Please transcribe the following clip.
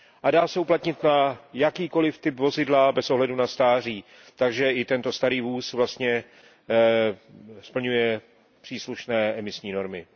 Dá se uplatnit na jakýkoliv typ vozidla bez ohledu na stáří, takže i ten starý vůz vlastně splňuje příslušné emisní normy.